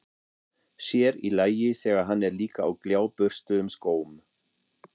Sér í lagi, þegar hann er líka á gljáburstuðum skóm.